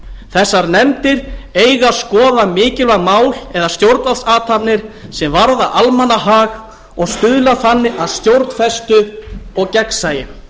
þessar nefndir eiga að skoða mikilvæg mál eða stjórnvaldsathafnir sem varða almannahag og stuðla þannig að stjórnfestu og gegnsæi